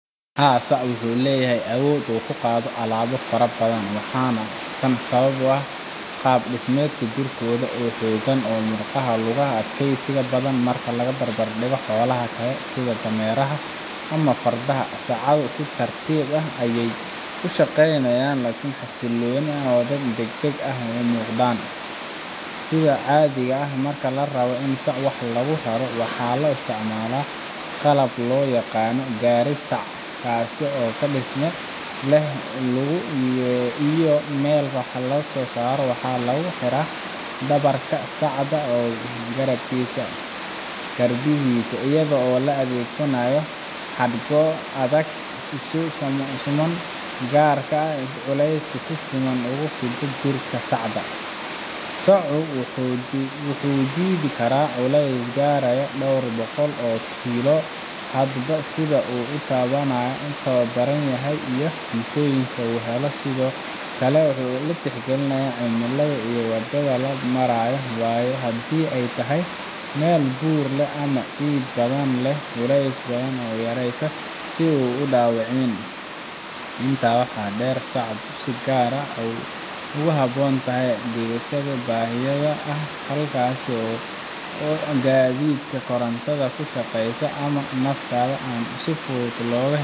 Marka la eego awoodda iyo qaabka gaadhiga sacu leeyahay, guud ahaan gaadhi sac waa mid loogu talagalay in uu qaado culeysyo dhexdhexaad ah oo aan aad u culusayn sida alaabaha fudud ama kuwa yar yar ee aan baaxadda weyn lahayn. Haddii alaabtu ay tahay mid culus ama tiro badan, waxaa laga yaabaa in gaadhiga sacu uusan awoodin inuu si ammaan ah u qaado, taasoo keeni karta in sacu xumaado ama uu jabo. Sidoo kale, gaadhi sacu wuxuu leeyahay cabbir iyo qaab gaar ah oo xaddidaya inta alaabo ee lagu rari karo hal mar. Haddii aad isku daydo inaad ku rarto alaabo badan.